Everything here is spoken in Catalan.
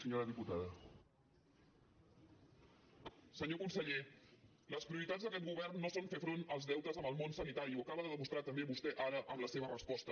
senyor conseller les prioritats d’aquest govern no són fer front als deutes amb el món sanitari i ho acaba de demostrar també vostè ara amb la seva resposta